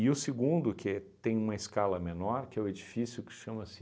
o segundo, que é tem uma escala menor, que é o edifício que chama-se...